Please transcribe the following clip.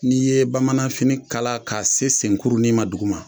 N'i ye bamanan fini kala k'a se sen kurunin ma duguma